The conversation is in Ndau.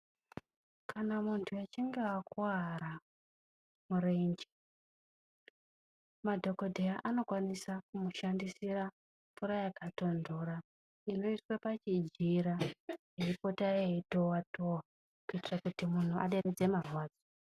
Kana muntu achinge akuvara murenje madhokodheya anokwanisa kumushandisira mvura yakatondora inoiswe pachijira iipota iitova tova kudereredze marwadzo.